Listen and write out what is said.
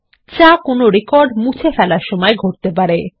যা কোনো রেকর্ড মুছে ফেলার সময় ঘটতে পারে